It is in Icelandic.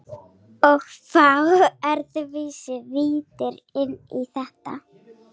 Og fá öðruvísi víddir inn í þetta.